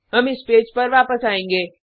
हम इस पेज पर वापस आएंगे